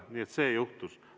Nii et see juhtus.